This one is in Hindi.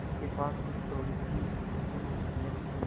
उसके पास कुछ थोड़ीसी मिलकियत थी